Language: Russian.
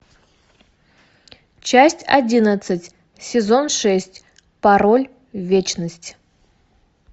часть одиннадцать сезон шесть пароль вечность